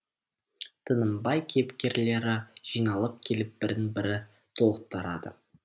тынымбай кейіпкерлері жиналып келіп бірін бірі толықтарады